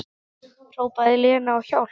Hrópaði Lena á hjálp?